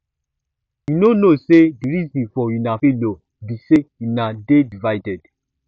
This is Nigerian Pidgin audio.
you no know say the reason for una failure be say una dey divided